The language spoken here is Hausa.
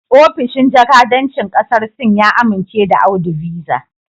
Ofishin jakadancin kasar Sin ya amince da Audu Visa